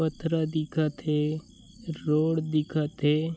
पथरा दिखत हे रोड दिखत हे।